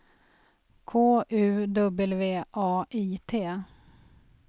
K U W A I T